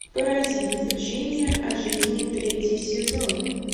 паразит учение о жизни третий сезон